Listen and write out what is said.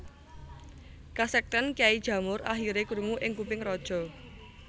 Kasekten Kyai Jamur akhire krungu ing kuping raja